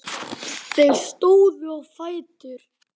Þeir stóðu á fætur.